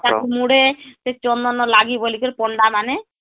ତ ଠାକୁ ମୁଡ଼େ ସେ ଚନ୍ଦନ ଲାଗିବ ବୋଲି କରେ ପଣ୍ଡା ମାନେ